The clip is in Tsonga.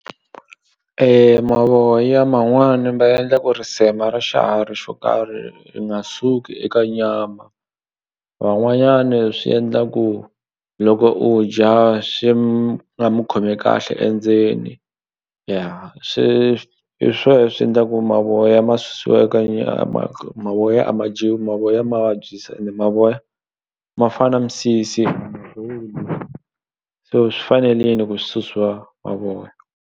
Mavoya man'wani ma endla ku risema ra xiharhi xo karhi i nga suki eka nyama van'wanyani swi endla ku loko u dya swi nga mi khomi kahle endzeni ya swi hi swo swi endlaku mavoya ma susiwa eka nyama mavoya a ma dyiwi mavoya ma vabyisa ende mavoya ma fana misisi so swi fanelini ku swi susiwa mavoya.